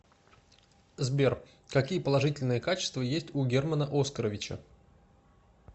сбер какие положительные качества есть у германа оскаровича